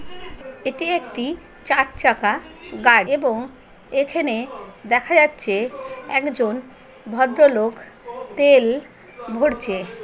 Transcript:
এটি একটি চার চাকা গাড়ি এবং এখানে দেখা যাচ্ছে একজন ভদ্রলোক তেল ভরছে।